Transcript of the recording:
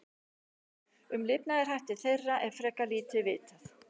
Um lifnaðarhætti þeirra er frekar lítið vitað.